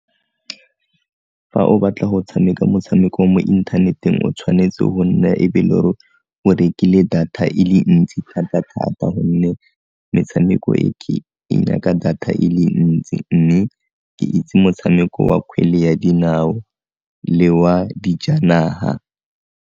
Fa o batla go tshameka motshameko mo inthaneteng o tshwanetse go nna ebe le o rekile data e le ntsi thata-thata gonne metshameko e e data e le ntsi mme ke itse motshameko wa kgwele ya dinao le wa dijanaga.